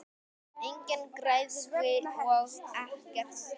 Engin græðgi og ekkert stress!